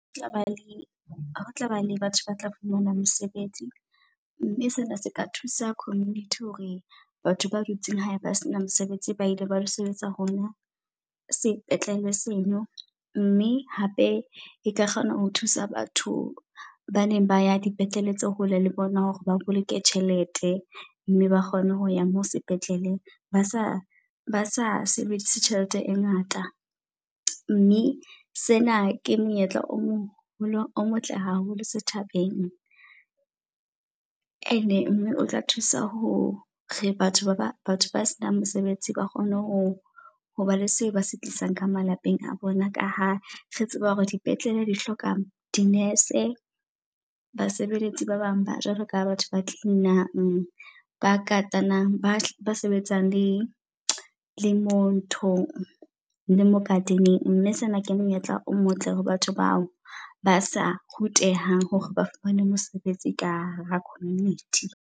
Ho tla ba le ho tla ba le batho ba tla fumana mosebetsi. Mme sena se ka thusa community hore batho ba dutseng hae ba sena mosebetsi ba ile ba lo sebetsa hona sepetlele seno. Mme hape e ka kgona ho thusa batho ba neng ba ya dipetlele tse hole le bona hore ba boloke tjhelete mme ba kgone ho ya mo sepetleleng ba sa ba sa sebedise tjhelete e ngata. Mme sena ke monyetla o o motle haholo setjhabeng. And mme o tla thusa ho re batho ba batho ba senang mosebetsi ba kgone ho ho ba le seo ba se tlisang ka malapeng a bona. Ka ha re tseba hore dipetlele di hlokang di-nurse, basebeletsi ba bang ba jwalo ka batho ba clean-ang. Ba katanang, ba sebetsang le le mo nthong le mo garden-eng. Mme sena ke monyetla o motle hore batho bao ba sa rutehang hore ba fumane mosebetsi ka hara community.